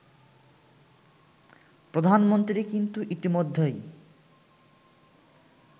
প্রধানমন্ত্রী কিন্তু ইতিমধ্যেই